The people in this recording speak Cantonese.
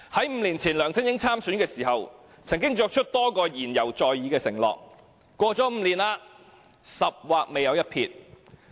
五年前梁振英參選的時候，曾經作出的多個承諾言猶在耳，可是 ，5 年過去了，"十劃未有一撇"。